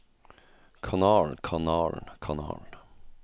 kanalen kanalen kanalen